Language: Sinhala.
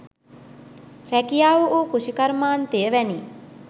රැකියාව වූ කෘෂිකර්මාන්තය වැනි